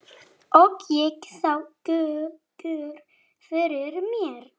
Og ég sá Gauk fyrir mér.